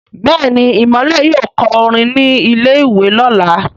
Béèni Imole yóò kọ orin ní ilè ìwé lọla.